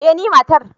eh ni matar